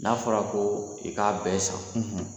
N'a fɔra ko i k'a bɛɛ san